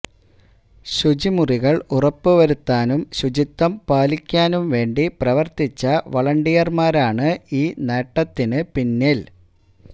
ശുചിമുറികള് ഉറപ്പുവരുത്താനും ശുചിത്വം പാലിക്കാനും വേണ്ടി പ്രവര്ത്തിച്ച വളണ്ടിയര്മാരാണ് ഈ നേട്ടത്തിന് പിന്നില്